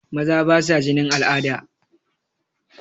Maza basa jinin al'ada.